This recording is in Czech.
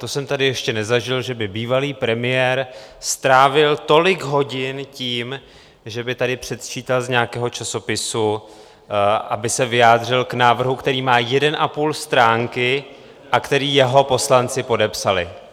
To jsem tady ještě nezažil, že by bývalý premiér strávil tolik hodin, že by tady předčítal z nějakého časopisu, aby se vyjádřil k návrhu, který má 1,5 stránky a který jeho poslanci podepsali.